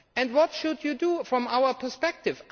What should you do from our perspective?